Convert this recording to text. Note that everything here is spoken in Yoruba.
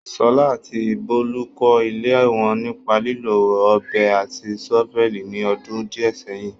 Sola àti Bolu kọ́ ilé wọn nípa lílo ọ̀bẹ àti ṣọ́fẹ́ẹ̀lì ní ọdún díẹ̀ sẹ́yìn.